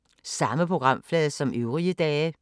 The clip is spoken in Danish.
Samme programflade som øvrige dage